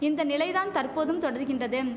இந்த நிலை தான் தற்போதும் தொடர்கின்றதும்